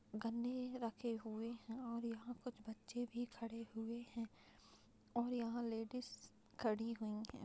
गन्ने रखे हुए हैं और यहाँ कुछ बच्चे भी खड़े हुए हैं और यहाँ लेडिस खड़ी हुई हैं।